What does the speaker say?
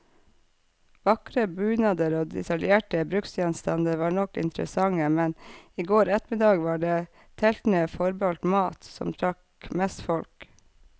Vakre bunader og detaljerte bruksgjenstander var nok interessante, men i går ettermiddag var det teltene forbeholdt mat, som trakk mest folk.